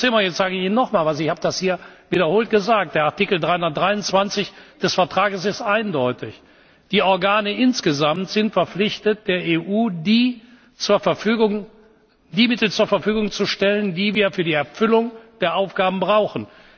Und Frau Zimmer, jetzt sage ich Ihnen noch etwas, ich habe das hier wiederholt gesagt Der Artikel 323 des Vertrags ist eindeutig. Die Organe insgesamt sind verpflichtet, der EU die Mittel zur Verfügung zu stellen, die wir für die Erfüllung der Aufgaben brauchen.